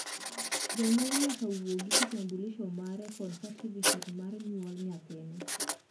janyuol nyaka wuog gi kitabulisho mare kod satifiket nar nyuol nyathine